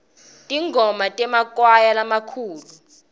tingoma temakwaya lamakhulu